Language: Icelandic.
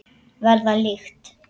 Verða lykt.